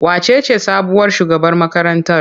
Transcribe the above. Wacece sabuwar shugabar makarantar?